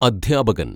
അദ്ധ്യാപകന്‍